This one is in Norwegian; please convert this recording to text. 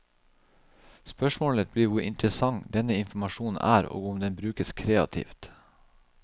Spørsmålet blir hvor interessant denne informasjonen er, og om den brukes kreativt.